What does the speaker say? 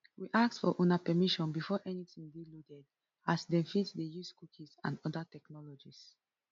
we ask for una permission before anytin dey loaded as dem fit dey use cookies and oda technologies